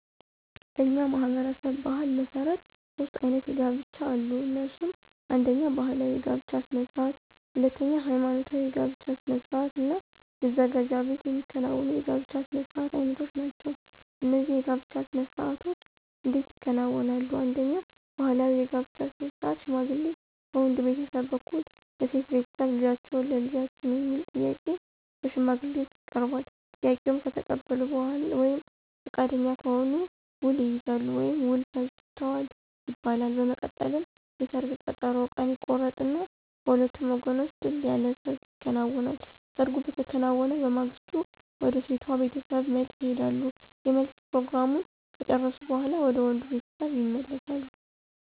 በእኛ ማህበረሰብ ባሕል መሠረት ሦስት አይነት የጋብቻ አሉ። እነሱም አነደኛ ባህላዊ የጋብቻ ስነ ስርዓት፣ ሁለተኛ ሐይማኖታዊ የጋብቻ ስነ ስርዓት እና መዘጋጃ ቤት የሚከናወኑ የጋብቻ ስነ ስርዓት አይነቶች ናቸው። እነዚህ የጋብቻ ስነ ስርዓቶች እንዴት ይከናወናሉ፣ አንደኛው ባህላዊ የጋብቻ ስነ ስርዓት ሽማግሌ ከወንድ ቤተሰብ በኩል ለሴቷ ቤተሰብ ልጃችሁን ለልጃችን የሚል ጥያቄ በሽማግሌዎች ይቀርባል፤ ጥያቄውን ከተቀበሉ ወይም ፈቃደኛ ከሆኑ ውል ይይዛሉ ወይም ውል ፈጅተዋል ይባላል። በመቀጠልም የሰርግ ቀጠሮ ቀን ይቆረጥና በሁለቱም ወገኖች ድል ያለ ሰርግ ይከናወናል። ሰርጉ በተከናወነ በማግስቱ ወደ ሴቷ ቤተሰብ መልስ ይሄዳሉ የመልስ ፕሮግራሙን ከጨረሱ በኋላ ወደ ወንዱ ቤተሰብ ይመለሳሉ።